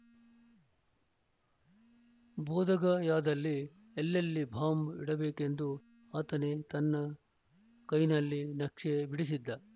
ಬೋಧಗಯಾದಲ್ಲಿ ಎಲ್ಲೆಲ್ಲಿ ಬಾಂಬ್‌ ಇಡಬೇಕೆಂದು ಆತನೇ ತನ್ನ ಕೈನಲ್ಲಿ ನಕ್ಷೆ ಬಿಡಿಸಿದ್ದ